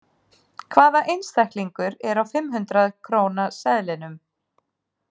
Hvaða einstaklingur er á fimm hundrað króna seðlinum?